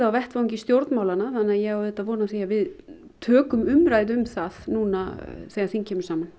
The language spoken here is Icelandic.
á vettvangi stjórnmálanna þannig að ég á auðvitað von á því að við tökum umræðu um það núna þegar þing kemur saman